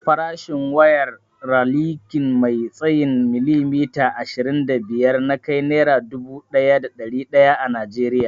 Farashin wayar rakalin mai tsayin milimita ashirin da biyar nakai naira dubu daya da dari daya a najeriya